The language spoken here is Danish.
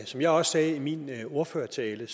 som jeg også sagde i min ordførertale